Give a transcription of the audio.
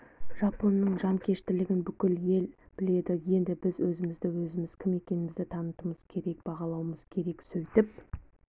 жапонның жанкештілігін бүкіл ел біледі енді біз өзімізді өзіміз кім екенімізді тануымыз керек бағалауымыз керек сөйтіп